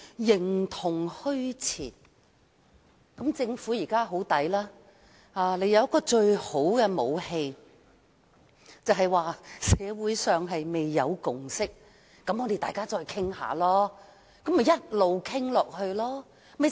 政府現在佔盡便宜，因為當局擁有最好的武器，便是社會上未有共識，大家要再討論一下。